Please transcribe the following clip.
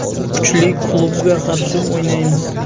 Kuchli klubga qarshi o‘ynaymiz.